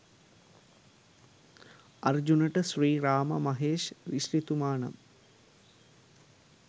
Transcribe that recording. අර්ජුනට ශ්‍රී රාමා මහේෂ් ඍෂිතුමා නම්